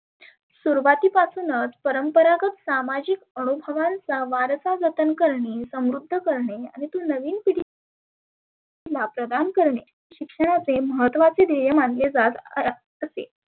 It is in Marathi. सुरुवाती पासुनच परंपरागत सामाजीक अनुभवाचा वारसा जतन करणे सम्रुद्ध करने आणि तो नविन पिढी ला प्रदान करणे शिक्षणाचे महत्वाचे ध्येय मानले कात अ असे.